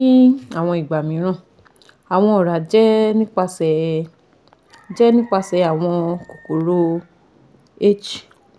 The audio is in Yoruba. ni awọn igba miiran awọn ọra jẹ nipasẹ jẹ nipasẹ awọn kokoro (H